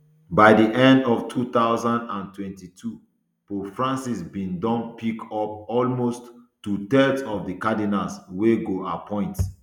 by di end of two thousand and twenty-two pope francis bin don pick up almost two thirds of di cardinals wey go appoint